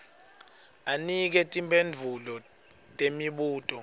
anike timphendvulo temibuto